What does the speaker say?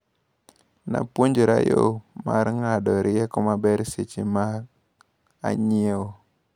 Napuonjra yo mar ng`ado rieko maber seche ma anyiewo.